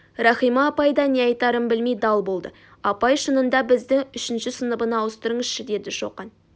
рахима апай да не айтарын білмей дал болды апай шынында бізді үшінші сыныбына ауыстырыңызшы деді шоқан